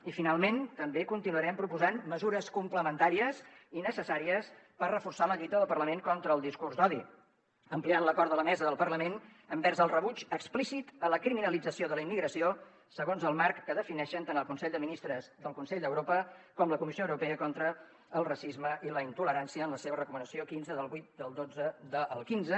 i finalment també continuarem proposant mesures complementàries i necessàries per reforçar la lluita del parlament contra el discurs d’odi ampliant l’acord de la mesa del parlament envers el rebuig explícit a la criminalització de la immigració segons el marc que defineixen tant el consell de ministres del consell d’europa com la comissió europea contra el racisme i la intolerància en la seva recomanació quinze del vuit del xii del quinze